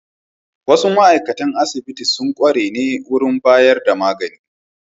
Wasu ma'aikatan asibiti sun kware ne wurin bayar da magani.